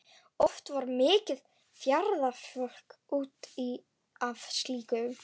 Oft varð mikið fjaðrafok út af slíku.